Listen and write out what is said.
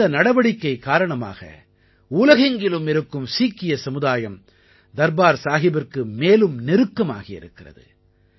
இந்த நடவடிக்கை காரணமாக உலகெங்கிலும் இருக்கும் சீக்கிய சமுதாயம் தர்பார் சாஹிபிற்கு மேலும் நெருக்கமாகி இருக்கிறது